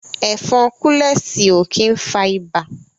Ẹ̀fọn kúlẹ̀sì ó kí ń fa ibà